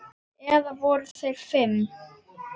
Eða voru þeir fimm?